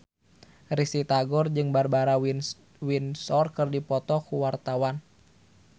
Risty Tagor jeung Barbara Windsor keur dipoto ku wartawan